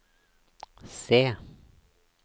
C